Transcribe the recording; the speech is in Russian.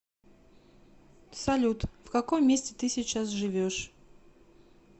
салют в каком месте ты сейчас живешь